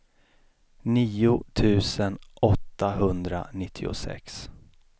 nio tusen åttahundranittiosex